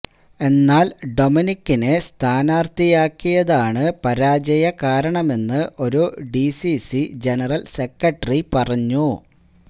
എന്നാല് ഡൊമിനികിനെ സ്ഥാനാര്ത്ഥിയാക്കിയതാണ് പരാജയകാരണമെന്ന് ഒരു ഡിസിസി ജനറല് സെക്രട്ടറി പറഞ്ഞു